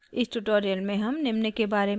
इस tutorial में हम निम्न के बारे में सीखेंगे: